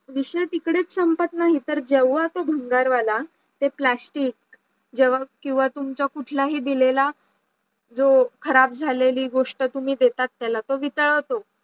विषय तिकडेच संपत नाही तर जेव्हा तो भंगारवाला ते plastic जेव्हा केव्हा तुम्ही कुठलाही दिलेला जो खराब झालेली गोष्ट तुम्ही देतात त्याला तो वितळवतो